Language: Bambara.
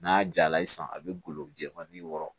N'a jala ye sisan a bɛ golo jɛfan ni wɔɔrɔ